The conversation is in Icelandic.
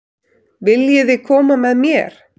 Viljiði koma með mér?